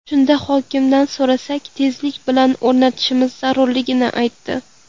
Shunda hokimdan so‘rasak, tezlik bilan o‘rnatishimiz zarurligini aytdi.